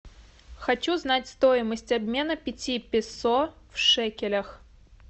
хочу знать стоимость обмена пяти песо в шекелях